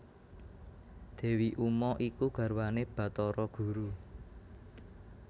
Dewi Uma iku garwane Bathara Guru